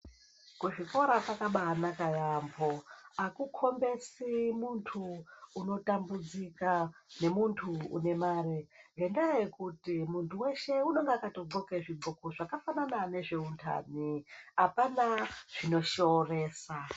Kuzvikora kwakabaanaka yaamho akukombesi muntu unotambudzika nemuntu unemare ngendaa yekuti muntu weshe unonga akato dhloke zvidhloko zvakafanana nezveuntani apana zvinoshooresa.